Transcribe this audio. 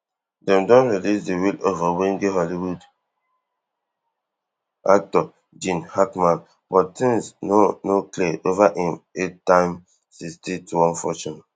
dem don release di will of owege hollywood actor gene hackman but tins no no clear ova im eight tym sixty-twelve fortune